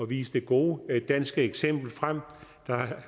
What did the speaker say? vise det gode danske eksempel frem der